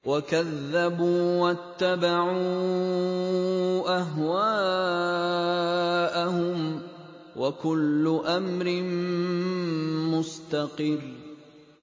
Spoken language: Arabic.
وَكَذَّبُوا وَاتَّبَعُوا أَهْوَاءَهُمْ ۚ وَكُلُّ أَمْرٍ مُّسْتَقِرٌّ